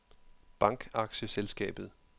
Bankaktieselskabet